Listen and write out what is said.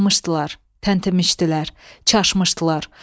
Karıxmışdılar, tənəmişdilər, çaşmışdılar.